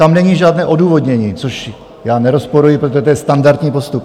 Tam není žádné odůvodnění, což já nerozporuji, protože to je standardní postup.